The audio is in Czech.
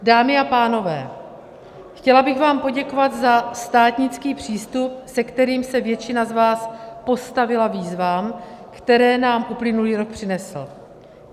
Dámy a pánové, chtěla bych vám poděkovat za státnický přístup, se kterým se většina z vás postavila výzvám, které nám uplynulý rok přinesl.